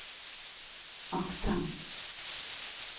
aksent